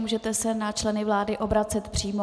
Můžete se na členy vlády obracet přímo.